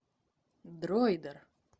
дроидер